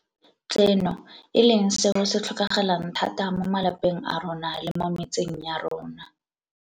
Tseno, e leng seo se tlhokagalang thata mo malapeng a rona le mo metseng ya rona.